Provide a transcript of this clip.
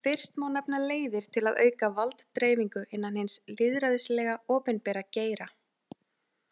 Fyrst má nefna leiðir til að auka valddreifingu innan hins lýðræðislega, opinbera geira.